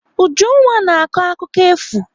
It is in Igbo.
Ujunwa na-akọ akụkọ efu.